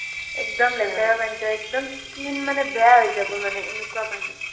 একদম লেতেৰা পানিটো একদম skin মানে বেয়া হৈ যাব মানে এনেকুৱা পানী